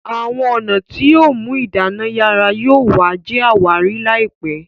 Àwọn ọnà tíó mú idana yara yóò wa jé àwárí láìpé